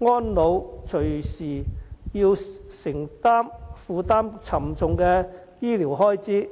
安老隨時要負擔沉重的醫療開支。